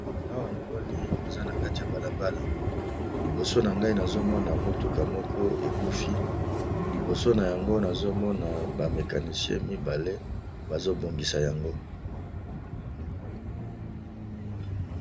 Awa namoni eza na kati ya balabala liboso na ngai nazomona motuka moko ekufi liboso na yango nazomona bamekanisie mibale bazobongisa yango.